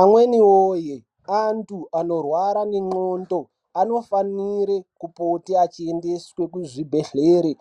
Amweni woye antu anorwara nenxondo anofanire kupote achiendeswe kuzvibhadhlera,